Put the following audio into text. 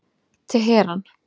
Teheran